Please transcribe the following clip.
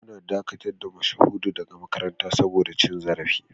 An dakatar da Mashahudu daga makaranta saboda cin zarafi